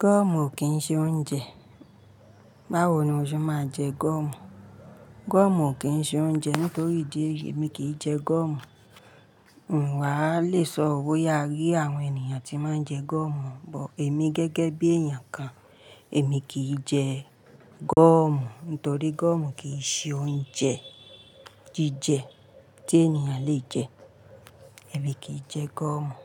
goọ̀mù kì í ṣe oúnjẹ. Báwo ni o ṣe máa jẹ gúọ̀mù? Goọ̀mù kì í ṣe oúnjẹ nítorí idi eyii, èmi kì í jẹ goọ̀mù. N wà á lè sọ o boya a rí àwọn ènìyàn tí máa ń jẹ goọ̀mù, but èmi gẹ́gẹ́ bí èèyàn kan, èmi kì í jẹ goọ̀mù nítorí goọ̀mù kì í ṣe oúnjẹ jíjẹ tí ènìyàn le jẹ. Èmi kì í jẹ goọ̀mù.